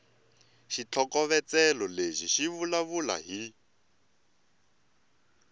xitlhokovetselo lexi xi vulavula hi